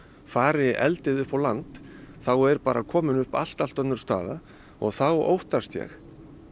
fari eldið upp á land þá er bara komin upp allt allt önnur staða og þá óttast ég